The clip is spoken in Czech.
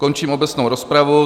Končím obecnou rozpravu.